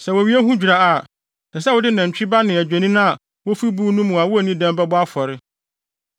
Sɛ wowie ho dwira a, ɛsɛ sɛ wode nantwi ba ne adwennini a wofi buw no mu a wonni dɛm bɛbɔ afɔre.